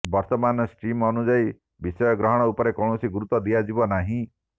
ବର୍ତ୍ତମାନ ଷ୍ଟ୍ରିମ୍ ଅନୁଯାୟୀ ବିଷୟ ଗ୍ରହଣ ଉପରେ କୌଣସି ଗୁରୁତ୍ୱ ଦିଆଯିବ ନାହିଁ